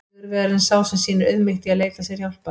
Sigurvegarinn er sá sem sýnir auðmýkt í að leita sér hjálpar!